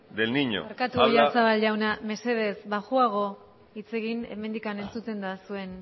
del niño barkatu oyarzabal jauna mesedez baxuago hitz egin hemendik entzuten da jarraitu mesedez